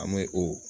An bɛ o